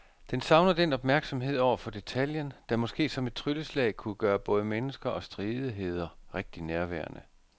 Den savner den opmærksomhed over for detaljen, der måske som et trylleslag kunne gøre både mennesker og stridigheder rigtig nærværende.